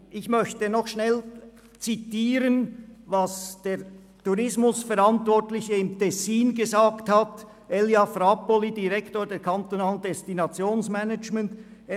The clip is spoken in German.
Ich möchte noch kurz den Tourismusverantwortlichen des Kantons Tessin, Elia Frapolli, Direktor des kantonalen Destinationsmangements zitieren.